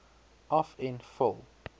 af en vul